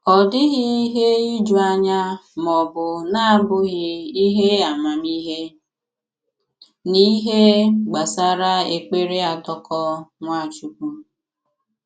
Ọ dịghị ihe iju anya ma ọ bụ na-abụghị ihe amamihe n’ihe gbasara èkpere àdàkọ̀ Nwachukwu.